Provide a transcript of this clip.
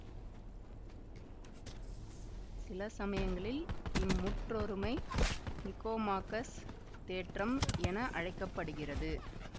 சிலசமயங்களில் இம்முற்றொருமை நிகோமாக்கஸ் தேற்றம் என அழைக்க படுகிறது